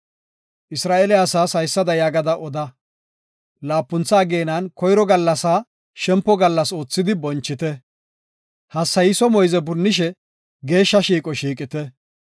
Isra7eele asaas haysada yaagada oda; laapuntha ageenan koyro gallasaa shempo gallas oothidi bonchite; hassayiso moyze punnishe geeshsha shiiqo shiiqite.